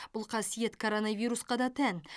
бұл қасиет коронавирусқа да тән